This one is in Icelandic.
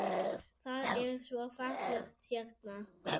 Það er svo fallegt hérna.